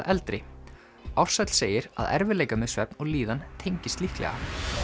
eldri Ársæll segir að erfiðleikar með svefn og líðan tengist líklega